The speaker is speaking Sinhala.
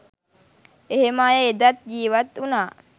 එහෙම අය එදත් ජීවත් උනා